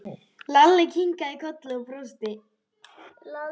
Lalli kinkaði kolli og brosti.